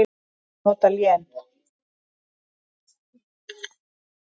Má nota lén